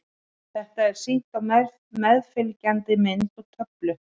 Þetta er sýnt á meðfylgjandi mynd og töflu.